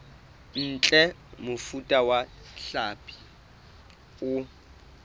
ntle mofuta wa hlapi o